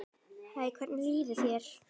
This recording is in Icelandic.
Hæ, hvernig líður þér?